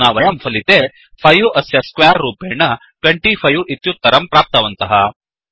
अधुना वयं फलिते 5 अस्य स्क्वेर रूपेण 25 इत्युत्तरं प्राप्तवन्तः